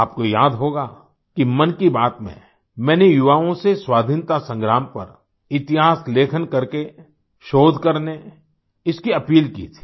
आपको याद होगा कि मन की बात में मैंने युवाओं से स्वाधीनता संग्राम पर इतिहास लेखन करके शोध करने इसकी अपील की थी